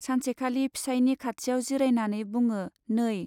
सानसेखालि फिसाइनि खाथियाव जिरायनानै बुङो, नै